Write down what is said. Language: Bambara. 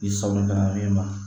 I sagoya min ma